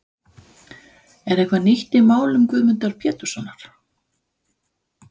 Er eitthvað nýtt í málum Guðmundar Péturssonar?